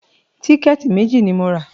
Tíkẹ̀tì méjì ni mo rà